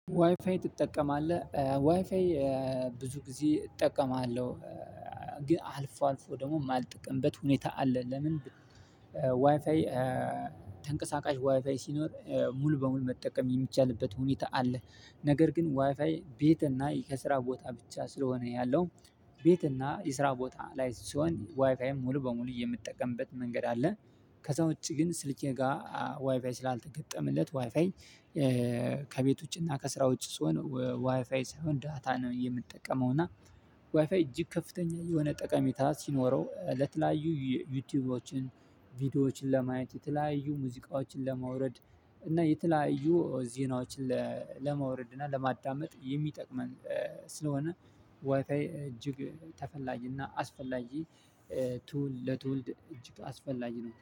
ዋይፋይ ትጠቀማለህ ዋይፋይ ብዙ ጊዜ እጠቀማለሁ ግን አልፎ አልፎ ደግሞ የማልጠቀምበት ሁኔታ አለ። ለምን? ዋይፋይ ተንቀሳቃሽ ዋይፋይ ሲኖር ሙሉ በሙሉ መጠቀም የሚቻልበት ሁኔታ አለ። ነገር ግን ዋይፋይ ቤት እና ከስራ ቦታ ብቻ ስለሆነ ያለው ቤት እና የስራ ቦታ ላይ ስሆን ዋይፋይን ሙሉ በሙሉ የምጠቀምበት መንገድ አለ። ከዛ ውጪ ግን ስልኬ ጋር ዋይፋይ ስላልተገጠመለት ዋይፋይ ከቤት ውጪ እና ከስራ ውጪ ስሆን ዋይፋይ ሳይሆን ዳታ ነው የምጠቀመው። እና ዋይፋይ እጅግ ከፍተኛ የሆነ ጠቀሜታ ሲኖረው ለተለያዩ ዩቲዩቦችን ቪዲዮዎችን ለማየት የተለያዩ ሙዚቃዎችን ለማውረድ እና የተለያዩ ዜናዎችን ለማውረድ እና ለማዳመጥ የሚጠቅመን ስለሆነ ዋይፋይ እጅግ ተፈላጊ እና አስፈላጊ ቱል ለትውልድ እጅግ አስፈላጊ ነው